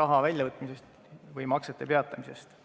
raha väljavõtmisest või maksete peatamisest.